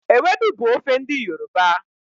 Ewedu bu ofe n'di yoruba